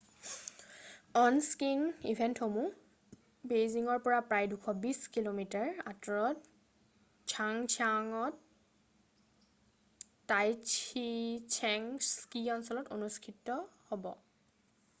আন স্কিং ইভেন্টসমূহ বেইজিংৰ পৰা প্ৰায় 220 কি:মি: 140 মাইল আঁতৰৰ ঝাংজিয়াক'ত টাইঝিছেং স্কি অঞ্চলত অনুষ্ঠিত হ'ব৷